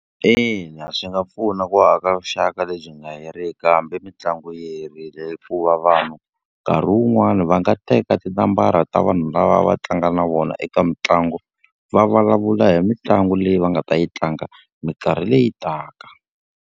Ina swi nga pfuna ku aka vuxaka lebyi nga heriki hambi mitlangu yi herile hikuva vanhu, nkarhi wun'wani va nga teka tinambara ta vanhu lava va tlanga na vona eka mitlangu, va vulavula hi mitlangu leyi va nga ta yi tlanga minkarhi leyi taka.